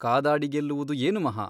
ಕಾದಾಡಿ ಗೆಲ್ಲುವುದು ಏನು ಮಹಾ !